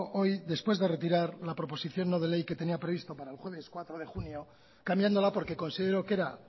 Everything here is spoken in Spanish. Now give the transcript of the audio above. hoy después de retirar la proposición no de ley que tenía previsto para el jueves cuatro de junio cambiándola porque considero que era